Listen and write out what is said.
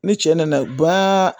Ni cɛ nana